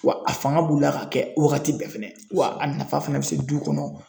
Wa a fanga b'u la ka kɛ wagati bɛɛ fɛnɛ wa a nafa fana bɛ se du kɔnɔ.